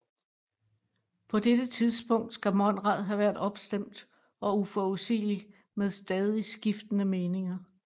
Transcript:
På dette tidspunkt skal Monrad have været opstemt og uforudsigelig med stadig skiftende meninger